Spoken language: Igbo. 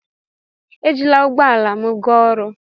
Ejila ụgbọ ala m gaa ọrụ.